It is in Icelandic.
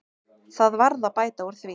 Það varð að bæta úr því.